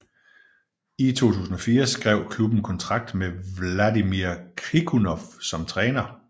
I 2004 skrev klubben kontrakt med Vladimir Krikunov som træner